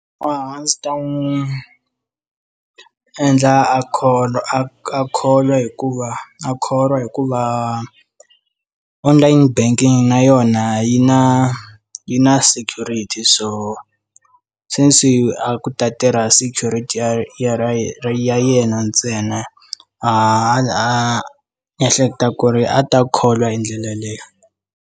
A ndzi ta n'wi endla a kholo a kholo hikuva a kholwa hikuva online banking na yona yi na yi na security so since a ku ta tirha security ya ya ra ra yena ntsena a a ehleketa ku ri a ta kholwa hi ndlela yaleyo.